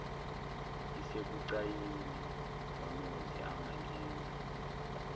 isebucayini ngonozi angangenza